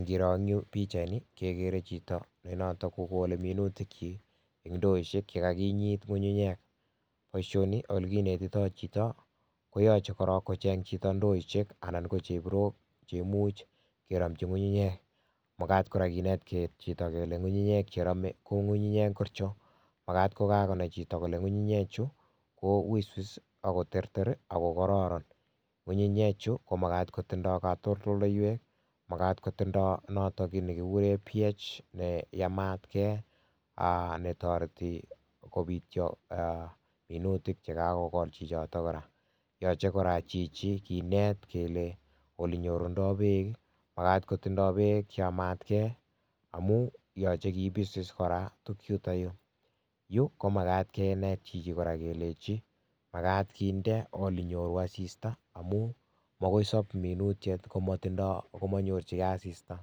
Ngiro eng yu pikchaini kekeree chito nenoto kokolei minutikchi eng indoishek chekakinyit ngungunyek boishonii ole kinetitoi chito koyochei korok kocheng chito ndoishek anan ko chebirok chemuch keromchii ngungunyek makat kora kenet chito kole ngungunyek cheromei ko ngungunyek ngorcho makat kokakonai chito kole ngungunyechu ko wisis ako terter akokororon ngungunyechu komakat kotindoi katoldoleiwek makat kotindoi noto kit nekikuree pH neyamatkei netoreti kopitcho minutik chekakekol chichoto kora yochei kora chichi kinet kele ole nyorundoi beek makat kotindoi beek cheyamatkei amun yochei kepis kora tukuchuto yu komakat kenet chichi kora kelechi makat kinde ole nyoru asista amu makoi sop minutyet komanyorchigei asista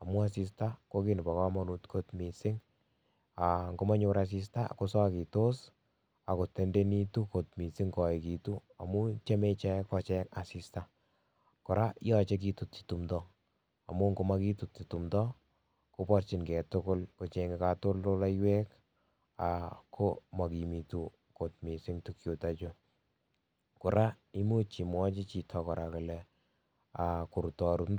amun asista ko kit nebo komonut kot mising ngomanyor asista kosokitos akotendenitu kot mising koekitu amun tyemei ichek kocheng asista kora yochei ketutchi tumdo amun ngomakitutchi tumdo koborchingei tugul kochenyei katoldoleiwek ko makimitu kot mising tukuchuto chu kora muuch imwachi chito kole korutorut ndoishek